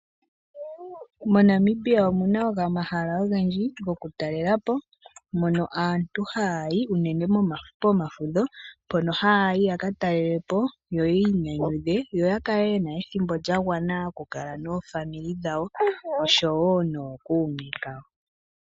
Mo Namibia omuna omahala ogendji gwokutalelapo mono aantu haya yi unene momafudho mpono haya yi yaka talelapo unene yo ya kale yena ethimbo lya gwana oku kala naakwanezimo yawo oshowo nookuume kayo.